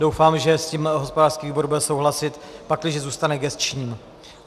Doufám, že s tím hospodářský výbor bude souhlasit, pakliže zůstane gesčním.